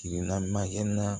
Kirina makɛna